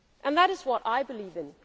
is what sets the Union apart